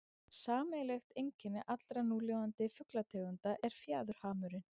sameiginlegt einkenni allra núlifandi fuglategunda er fjaðurhamurinn